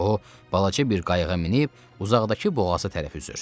O balaca bir qayıqa minib uzaqdakı boğaza tərəf üzür.